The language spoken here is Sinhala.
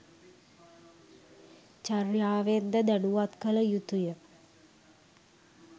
චර්යාවෙන් ද දැනුවත් කළ යුතුය.